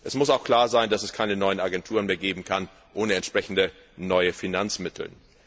Es muss auch klar sein, dass es keine neuen Agenturen mehr geben kann ohne entsprechende neue Finanzmittel.